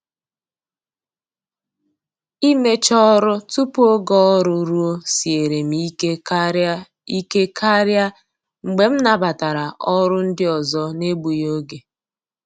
Imecha ọrụ tupu oge ọrụ ruo siere m ike karị ike karị mgbe m nabatara ọrụ ndị ọzọ n'egbughi oge.